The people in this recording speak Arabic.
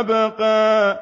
أَبْقَىٰ